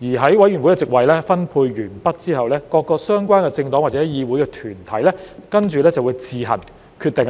在委員會席位分配完畢後，各個相關政黨或議會團體便會自行決定